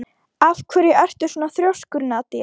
Af hverju ertu svona þrjóskur, Nadia?